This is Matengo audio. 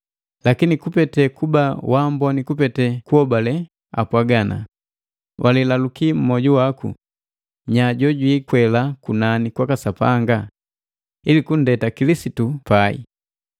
Lakini kupete kuba waamboni kupete kuhobale, apwaga ana, “Walilaluki mmoju waku, ‘Nya jojwiikwela kunani kwaka Sapanga?’ ” Ili kunndeta Kilisitu pai,